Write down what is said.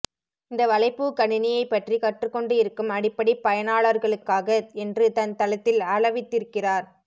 இந்த வலைப்பூ கணினியை பற்றி கற்றுக்கொண்டு இருக்கும் அடிப்படை பயனாளர்களுக்காக என்று தன் தளத்தில் அளவித்திருக்கிறார்